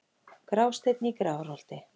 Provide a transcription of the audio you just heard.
Grásteinn í Grafarholti